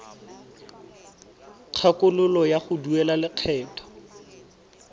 kgakololo ya go duela lekgetho